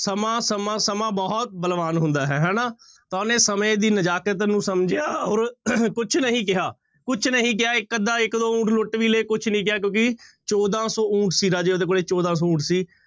ਸਮਾਂ ਸਮਾਂ ਸਮਾਂ ਬਹੁਤ ਬਲਵਾਨ ਹੁੰਦਾ ਹੈ ਹਨਾ, ਤਾਂ ਉਹਨੇ ਸਮੇਂ ਦੀ ਨਜਾਕਤ ਨੂੰ ਸਮਝਿਆ ਔਰ ਕੁਛ ਨਹੀਂ ਕਿਹਾ, ਕੁਛ ਨਹੀਂ ਕਿਹਾ ਇੱਕ ਅੱਧਾ ਇੱਕ ਦੋ ਊਠ ਲੁੱਟ ਵੀ ਲਏ ਕੁਛ ਨੀ ਕਿਹਾ ਕਿਉਂਕਿ ਚੌਦਾਂ ਸੌ ਊਠ ਸੀ ਰਾਜੇ ਉਹਦੇ ਕੋਲ, ਚੌਦਾਂ ਸੌ ਊਠ ਸੀ।